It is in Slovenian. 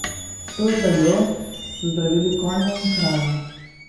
S to zeljo so zdravili konje in krave.